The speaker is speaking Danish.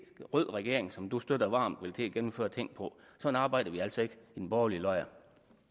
rød regering som du støtter varmt vil til at gennemføre ting på sådan arbejder vi altså ikke i den borgerlige lejr